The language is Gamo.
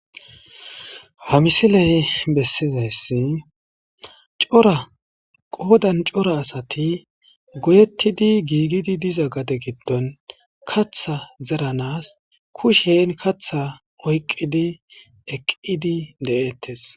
Ha missiley bessizaysii cora asati goyettidi giigidi diiza gaaden kaththa zeranas kushshen oyqqidi eqqidettes.